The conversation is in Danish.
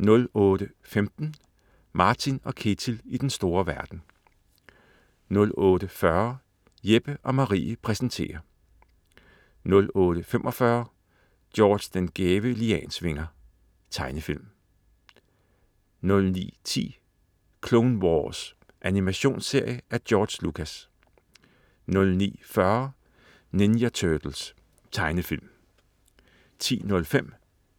08.15 Martin & Ketil i den store verden 08.40 Jeppe & Marie præsenterer 08.45 George den gæve Liansvinger. Tegnefilm 09.10 Clone Wars. Animationsserie af George Lucas 09.40 Ninja Turtles. Tegnefilm 10.05